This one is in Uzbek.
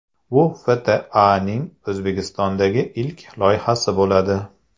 Bu FTAning O‘zbekistondagi ilk loyihasi bo‘ladi.